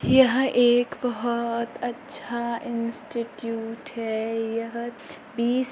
यह एक बहुत अच्छा इंस्टिट्यूट है यह बीस --